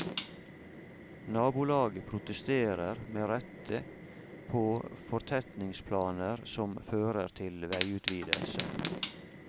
Nabolaget protesterer med rette på fortetningsplaner som fører til veiutvidelser.